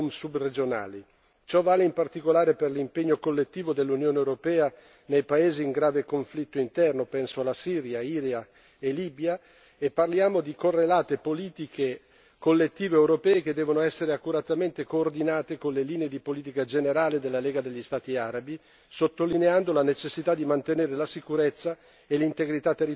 Ciò vale in particolare per l'impegno collettivo dell'Unione europea nei paesi in grave conflitto interno penso alla Siria, Iran e Libia e parliamo di correlate politiche collettive europee che devono essere accuratamente coordinate con le linee di politica generale della Lega degli Stati arabi, sottolineando la necessità di mantenere la sicurezza e l'integrità territoriale di questi paesi.